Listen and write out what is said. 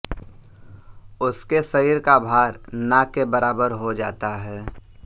उसके शरीर का भार ना के बराबर हो जाता हैं